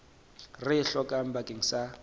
re e hlokang bakeng sa